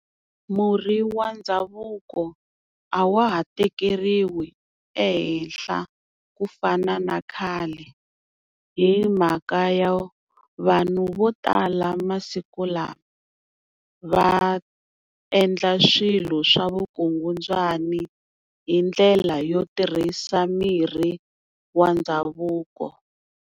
Murhi wa ndhavuko a wa ha tekeriwi ehenhla ku fana na khale. Hi mhaka yo vanhu vo tala masiku lawa va endla swilo swa vukungundzwani hi ndlela yo tirhisa mirhi wa ndhavuko.